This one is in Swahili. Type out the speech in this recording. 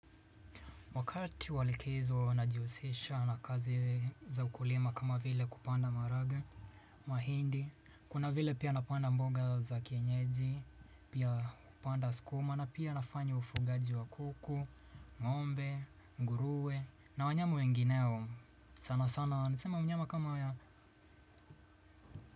Wakati wa likizo najihusisha na kazi za ukulima kama vile kupanda maharage. Mahindi, kuna vile pia napanda mboga za kienyeji. Pia hupanda sukuma na pia nafanya ufugaji wa kuku, ng'ombe, nguruwe. Na wanyama wengineo sana sana, niseme mnyama kama ya.